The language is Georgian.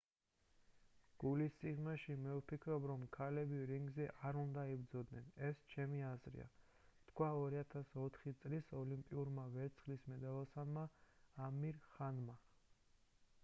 გულის სიღრმეში მე ვფიქრობ რომ ქალები რინგზე არ უნდა იბრძოდნენ ეს ჩემი აზრია თქვა 2004 წლის ოლიმპიურმა ვერცხლის მედალოსანმა ამირ ხანმა